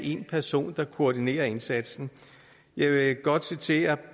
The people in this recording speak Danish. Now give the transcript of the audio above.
en person der koordinerer indsatsen jeg vil godt citere